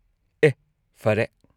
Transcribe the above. ꯑꯦꯍ ! ꯐꯔꯦ꯫